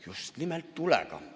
Just nimelt tulega.